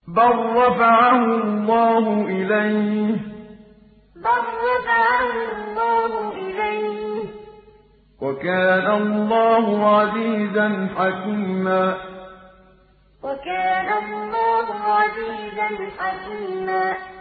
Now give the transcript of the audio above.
بَل رَّفَعَهُ اللَّهُ إِلَيْهِ ۚ وَكَانَ اللَّهُ عَزِيزًا حَكِيمًا بَل رَّفَعَهُ اللَّهُ إِلَيْهِ ۚ وَكَانَ اللَّهُ عَزِيزًا حَكِيمًا